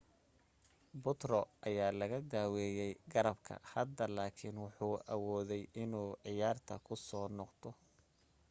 putro ayaa laga daaweey garabka hadda laakin wuxuu awooday inuu ciyaarta kusoo noqdo